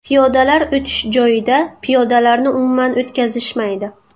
Piyodalar o‘tish joyida piyodalarni umuman o‘tkazishmaydi.